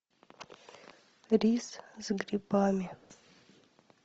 рис с грибами